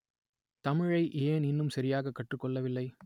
தமிழை ஏன் இன்னும் சரியாக கற்றுக் கொள்ளவில்லை